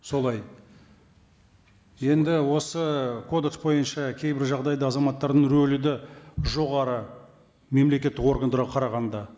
солай енді осы кодекс бойынша кейбір жағдайда азаматтардың рөлі де жоғары мемлекеттік органдарға қарағанда